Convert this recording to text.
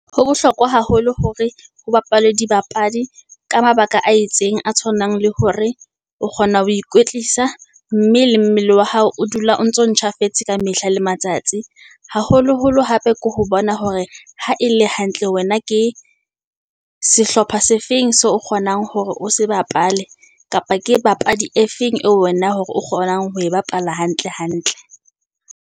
Ho bohlokwa haholo hore ho bapalwe dibapadi, ka mabaka a itseng a tshwanang, le hore o kgona ho ikwetlisa. Mme le mmele wa hao o dula o ntso ntjhafetseng ka mehla le matsatsi, haholoholo ho hape ke ho bona hore ha e le hantle wena ke sehlopha se feng so o kgonang hore o se bapale, kapa ke bapadi e feng eo wena hore o kgonang ho e bapala hantle hantle.